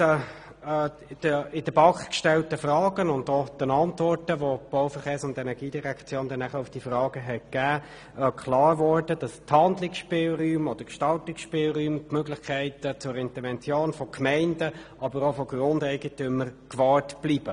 Den in der BaK gestellten Fragen und den Antworten der BVE konnte ich entnehmen, dass die Gestaltungsspielräume und die Interventionsmöglichkeiten von Gemeinden und von Grundeigentümern gewahrt bleiben.